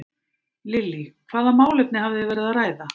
Lillý: Hvaða málefni hafið þið verið að ræða?